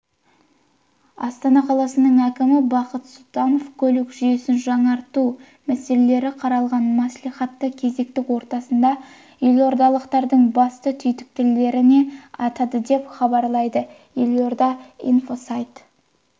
астана қаласының әкімі бақыт сұлтанов көлік жүйесін жаңғырту мәселелері қаралған мәслихаттың кезекті отырысында елордалықтардың басты түйіткілдерін атады деп хабарлайды елорда инфосайтына